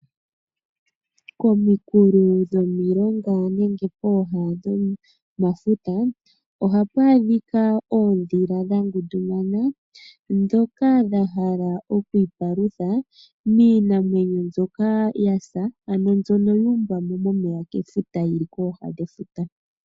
Pominkulo dhomilonga nenge pooha dhomafuta ohapu adhika oondhila dha ngundumana ndhoka dha hala oku ipalutha miinamwenyo mbyoka yasa, ano mbyono yu umbwa mo mefuta yili kooha dhefuta.